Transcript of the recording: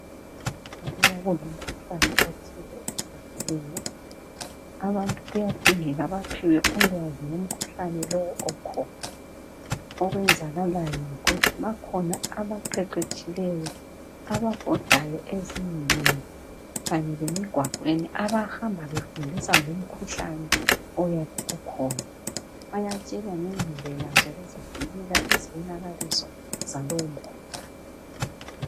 Alubana kulomkhuhlane othile ohlaseleyo abantu kuyadingeka baphiwe ulwazi ngomkhuhlane lowo okhona. Okwenzakalayo yikuthi bakhona abaqeqetshileyo ababhodayo ezindlini kanye lemigwaqweni abahamba befundisa ngomkhuhlane oyabe ukhona. Bayatshelwa ngendlela zokuzivikela lezibonakaliso zalowomkhuhlane.